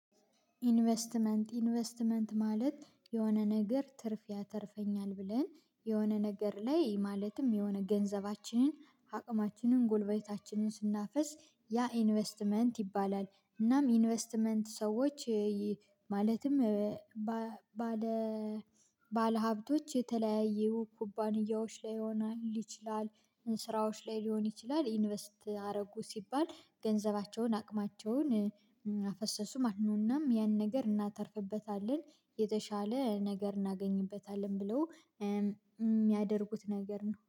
ኢንቨስትመንት ኢንቨስትመንት ማለት የሆነ ነገር ትርፍ ያተርፈኛል ብለን የሆነ ነገር ላይ ማለትም የሆነ ገንዘባችንን አቅማችንን ጎልበታችንን ስናፍስ ያ ኢንቨስትመንት ይባላል። እናም ኢንቨስትመንት ሰዎች ማለትም ባለሀብቶች የተለያዩ ኩባንያዎች ላይ ሊሆን ይችላል ስራዎች ላይ ሊሆን ይችላል ኢንቨስት አረጉ ሲባል ገንዘባቸውን አቅማቸውን አፈሰሱ ማለት ነው። እናም ያን ነገር እናተርፍበታለን የተሻለ ነገር እናገኝበታለን ብለው ሚያደርጉት ነገር ነው